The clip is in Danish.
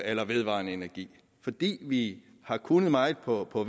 eller vedvarende energi fordi vi har kunnet meget på på